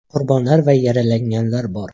Qurbonlar va yaralanganlar bor.